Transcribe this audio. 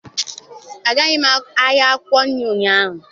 Agaghị m ahịa akwụkwọ nri ụnyaahụ.